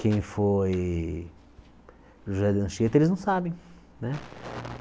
quem foi José de Anchieta, eles não sabem, né?